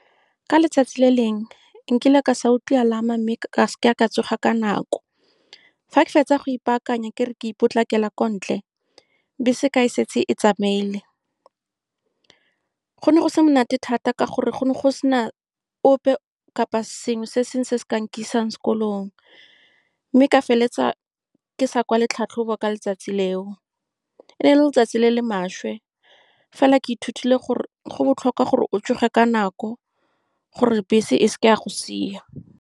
Ka letsatsi le lengwe, nkile ka se utlwi alarm-a, mme ga ke a tsoga ka nako. Fa ke fetsa go ipaakanya, ke re ke potlakela ko ntle, bese ke fa e setse e tsamaile. Go ne go se monate thata, ka gore go ne go se na ope kapa sengwe se se ka nkisang sekolong, mme ka feleletsa ke sa kwale tlhatlhobo ka letsatsi leo. E ne e le letsatsi le le maswe fela, ke ithutile gore go botlhokwa gore o tsoge ka nako, gore bese e se ke ya go sia.